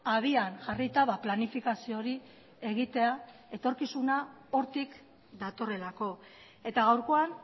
habian jarrita planifikazio hori egitea etorkizuna hortik datorrelako eta gaurkoan